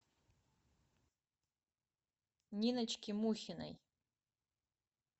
ниночки мухиной